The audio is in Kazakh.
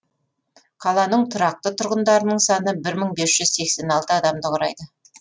қаланың тұрақты тұрғындарының саны бір мың бес жүз сексен алты адамды құрайды